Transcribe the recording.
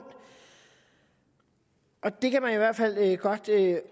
og det kan man i hvert fald